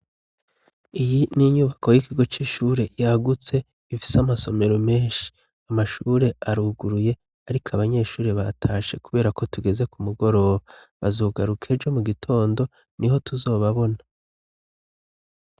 Iyi ni inyubako y'ikigo c'ishure yagutse ifise amasomero menshi. Amashure aruguruye ariko abanyeshuri batashe kubera ko tugeze ku mugoroba. Bazogaruka ejo mu gitondo niho tuzobabona.